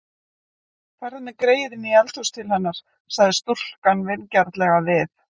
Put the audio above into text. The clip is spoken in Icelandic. Farðu með greyið inní eldhús til hennar, sagði stúlkan vingjarnlega við